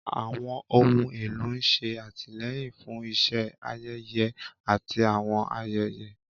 Àwọn ohun èlò ń ṣe àtìlẹ́yìn fún iṣẹ́ ayẹyẹ àti àwọn ayẹyẹ.